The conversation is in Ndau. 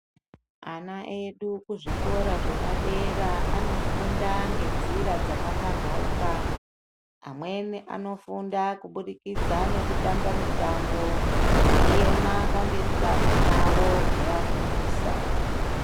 Ana edu kuzvikora zvepadera anofunda ngenzira dzakapambauka. Amweni anofunda kubudikidza nekutamba mitambo, eiema pamberi peamweni avo eiafendisa.